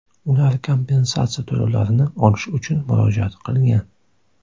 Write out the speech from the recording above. Ular kompensatsiya to‘lovlarini olish uchun murojaat qilgan.